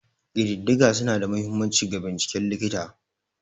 Ƙididdiga suna da mahimmanci ga binciken likita.